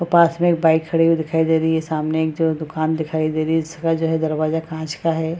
पास में एक बाइक खड़ी हुई दिखाई दे रही है सामने एक जगह दुकान दिखाई दे रही है जिसका जो है दरवाजा कांच है।